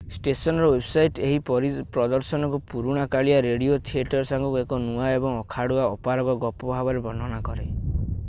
ଷ୍ଟେସନର ୱେବସାଇଟ୍ ଏହି ପ୍ରଦର୍ଶନକୁ ପୁରୁଣା କାଳିଆ ରେଡିଓ ଥିଏଟର ସାଙ୍ଗକୁ ଏକ ନୂଆ ଏବଂ ଅଖାଡ଼ୁଆ ଅପାରଗ ଗପ ଭାବରେ ବର୍ଣ୍ଣନା କରେ i